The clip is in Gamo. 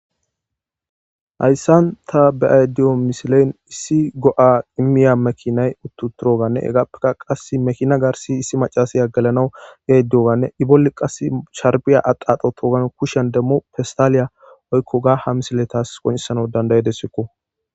Hayssan ta be'aydiyo misilen issi go'a imiya mekinay uttuturoganne egappeka qas mekina garsi issi macasaya gelanawu ge duyoganne i bolli qas sharbiya aqaxo toogan kushan demmo festaaliya oykkoga ha misiletas qonesana dandayedessekko.